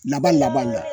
Laban laban na